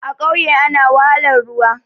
A ƙauye ana wahalar ruwa